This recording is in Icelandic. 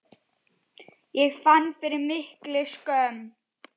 Ég fann fyrir mikilli skömm.